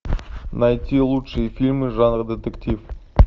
найти лучшие фильмы жанра детектив